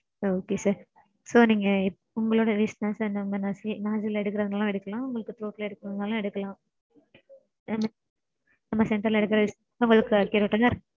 sir Okay sir. So நீங்க உங்களோட wish தா sir. நம்ம nostril ல எடுக்கறதனாலும் எடுக்கலாம் உங்களுக்கு throat ல எடுக்கறதனாலும் எடுக்கலாம் நம்ம center ல எடுக்கறது உங்களுக்கு accurate ஆ தா இருக்கும்.